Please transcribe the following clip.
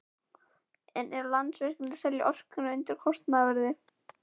En er Landsvirkjun að selja orkuna undir kostnaðarverði?